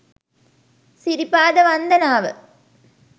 සිරිපාද වන්දනාව